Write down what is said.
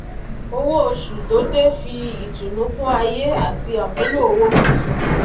owó oṣù tó dé fi ìtùnú kún ayé àti àmúlò owó tuntun